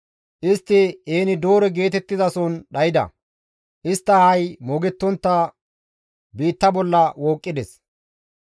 Istti En-Doore geetettizason dhayda; istta ahay moogettontta biitta bolla wooqqides.